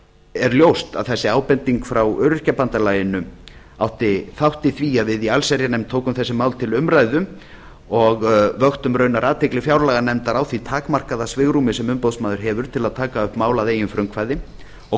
er ljóst að þessi ábending frá öryrkjabandalaginu átti þátt í því að við í allsherjarnefnd tókum þessi mál til umræðu og vöktum raunar athygli fjárlaganefndar á því takmarkaða svigrúmi sem umboðsmaður hefur til að taka upp mál að eigin frumkvæði og